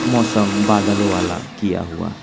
मौसम बादलों वाला किया हुआ है।